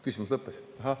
Küsimus lõppes?